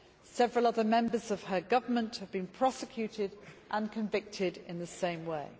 Several other members of her government have been prosecuted and convicted in the same way.